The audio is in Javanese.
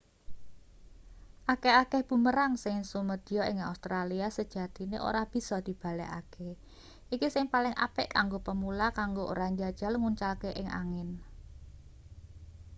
akeh-akeh bumerang sing sumedya ing australia sejatine ora bisa dibalekake iki sing paling apik kanggo pemula kanggo ora njajal nguncalke ing angin